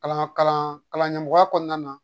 Kalan kalandenko kɔnɔna na